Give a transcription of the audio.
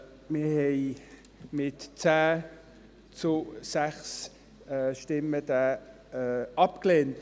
Wir haben diesen mit 10 zu 6 Stimmen abgelehnt.